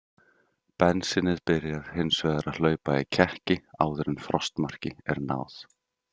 Bensínið byrjar hins vegar að hlaupa í kekki áður en frostmarki er náð.